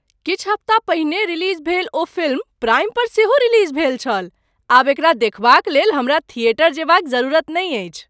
किछु हफ्ता पहिने रिलीज भेल ओ फिल्म प्राइम पर सेहो रिलीज भेल छल! आब एकरा देखबाक लेल हमरा थिएटर जएबाक जरूरत नहि अछि!